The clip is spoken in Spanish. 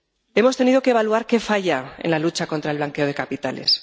Hemos tenido que evaluar qué falla en la lucha contra el blanqueo de capitales